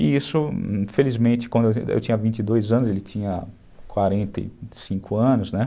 E isso, infelizmente, quando eu tinha vinte e dois anos, ele tinha quarenta e cinco anos, né?